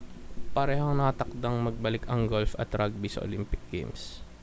parehong nakatakdang magbalik ang golf at rugby sa olympic games